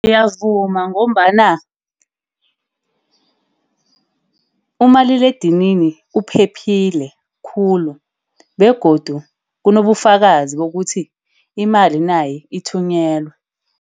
Ngiyavuma ngombana umaliledinini uphephile khulu. Begodu kunobufakazi bokuthi imali nayi ithunyelwe.